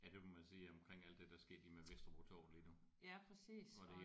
Ja det må man sige omkring alt det der er sket lige med Vesterbro Torv lige nu